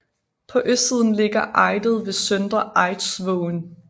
På østsiden ligger Eidet ved søndre Eidsvågen